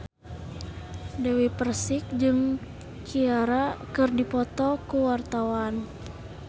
Dewi Persik jeung Ciara keur dipoto ku wartawan